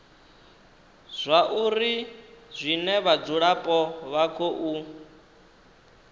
zwauri zwine vhadzulapo vha khou